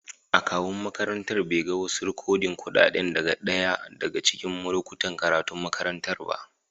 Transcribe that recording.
Akawun makarantan bai ga wasu rikodin kuɗaɗa daga ɗaya daga cikin lokutan karatun makarantar ba.